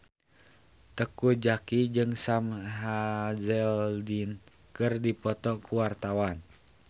Teuku Zacky jeung Sam Hazeldine keur dipoto ku wartawan